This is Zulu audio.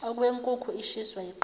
okwenkukhu ishiswa yiqanda